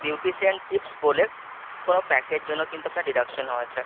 এটা Beautician Tips বলে কোন peck এর জন্য কিন্তু আপনার deduction হয়েছে,